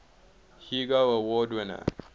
hugo award winner